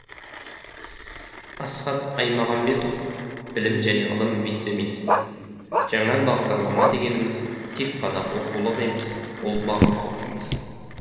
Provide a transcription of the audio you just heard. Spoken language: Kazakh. асхат аймағамбетов білім және ғылым вице министрі жаңа бағдарлама дегеніміз тек қана оқулық емес ол бағалау жүйесі